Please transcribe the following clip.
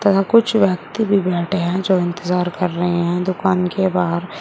यहां कुछ व्यक्ति भी बैठे हैं जो इंतजार कर रहे हैं दुकान के बाहर।